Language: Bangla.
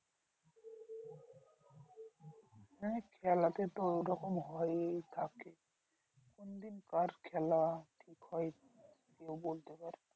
হ্যাঁ খেলতে তো ওইরকম হয়েই থাকে কোনদিন কার খেলা কি হয়, কেউ বলতে পারবে না।